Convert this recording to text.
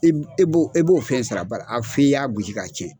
I b e b'o e b'o fɛn sara bari a f'i y'a gosi k'a tiɲɛ.